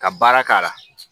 Ka baara k'a la